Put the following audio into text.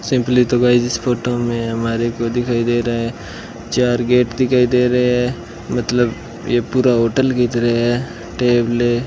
simply तो guys इस photo में हमारे को दिखाई दे रहा है चार गेट दिखाई दे रहे हैं मतलब ये पूरा होटल की तरह है टेबलें --